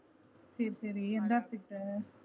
சரி சரி